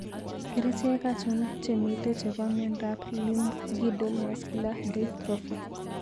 Kerichek achon chemiten chepo miondap Limb girdle muscular dystrophy?